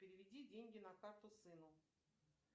переведи деньги на карту сыну